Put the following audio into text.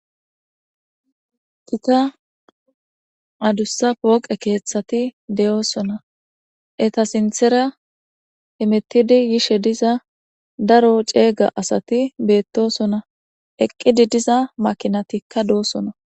Gita adussa pooqe keeththati doosona eta sinththera hemettidi yiza daro ceega asati beettosona. Eqqidi diza makinatikka doosona.